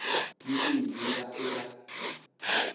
ni leyi yi nga eka